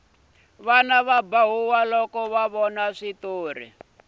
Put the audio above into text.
vana va ba huwa loko ho vona switori